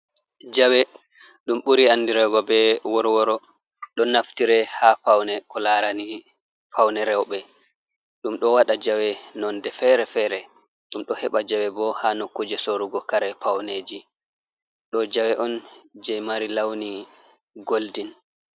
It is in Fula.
Jawe ɗum ɓuri andirego be worworo ɗo naftire ha paune ko larani paune reuɓe ɗum ɗo waɗa jawe nonde fere-fere ɗum ɗo heɓa jawe bo ha nokkuje sorugo kare pauneji. Ɗo jawe on je mari launi goldin.